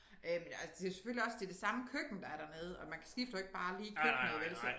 Øh men altså det selvfølgelig også det det samme køkken der er dernede og man kan skifter jo ikke bare lige køkkenet vel så